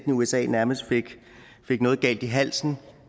usa nærmest fik noget galt i halsen